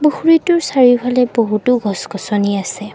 পুখুৰীটোৰ চাৰিওফালে বহুতো গছ গছনি আছে।